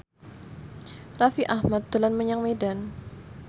Raffi Ahmad dolan menyang Medan